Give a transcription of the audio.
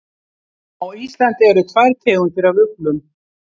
Á Íslandi eru tvær tegundir af uglum.